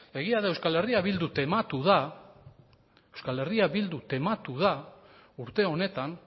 egia da euskal herria bildu tematu da urte honetan